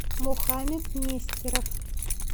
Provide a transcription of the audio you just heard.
мухамед нестеров